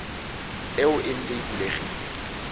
eo e ntse e bulegile